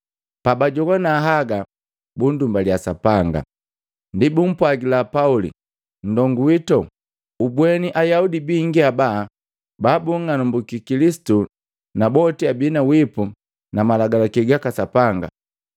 Pabajogwana haga, bunndumbalia Sapanga. Ndi bumpwagila Pauli, “Nndongu wito, ubweni Ayaudi bingi haba babung'alambuki Kilisitu na boti abi na wipu na malagalaki gaka Sapanga.